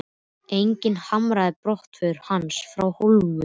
Enginn harmaði brottför hans frá Hólum.